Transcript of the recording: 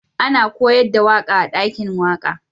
Ana koyars da waka a'dakin waka.